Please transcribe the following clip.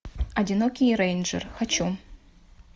одинокий рейнджер хочу